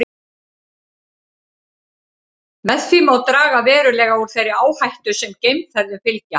Með því má draga verulega úr þeirri áhættu sem geimferðum fylgja.